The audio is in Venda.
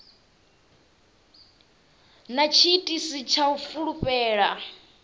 na tshiitisi tsha u fulufhela